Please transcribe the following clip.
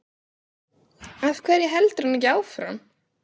Af hverju heldur hann ekki áfram?